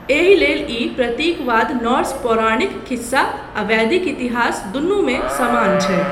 एहि लेल ई प्रतीकवाद नॉर्स पौराणिक खिस्सा आ वैदिक इतिहास दुनू मे समान छै।